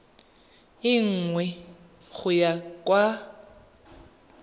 e nngwe go ya kwa